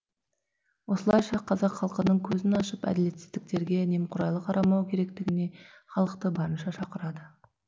осылайша қазақ халқының көзін ашып әділетсіздіктерге немқұрайлы қарамау керетігіне халықты барынша шақырады